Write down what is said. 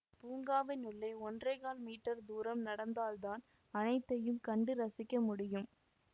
பூங்காவின் உள்ளே ஒன்றே கால் மீட்டர் தூரம் நடந்தால்தான் அனைத்தையும் கண்டு ரசிக்க முடியும்